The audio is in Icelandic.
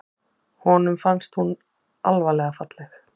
Honum fannst hún alvarlega falleg.